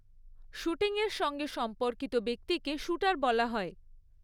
শ্যুটিংয়ের সঙ্গে সম্পর্কিত ব্যক্তিকে শ্যুটার বলা হয়।